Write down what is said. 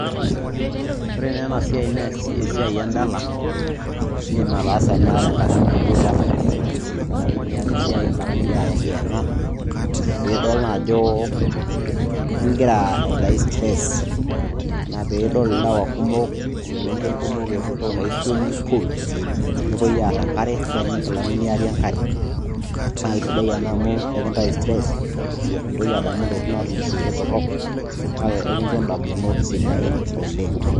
Ore naa ena siai naa esiai endala indim ataasa ena enkata naaijio ira free enkata nimiata esiai enkata ningira ayang'iyang'a peidol naajo ingira aitayu stress ina peeidol ilewa kumok o selenken kumok epuo entoki naji swimming pool nepuoi aaar enkare neitayuni inkilani niari enkare naa keisidai ena amu ekintayu stress mintoki adamu intokitin naatulusoitie torok kake ekinjo indamunot sidain oleng.